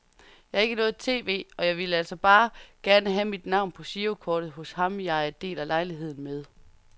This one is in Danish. Jeg har ikke noget tv, og jeg ville altså bare gerne have mit navn på girokortet hos ham jeg deler lejlighed med.